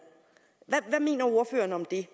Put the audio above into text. mener ordføreren om det